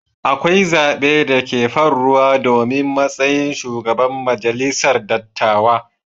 Akwai zabe da ke farruwa domin matsayin shugaban majalisar dattawa.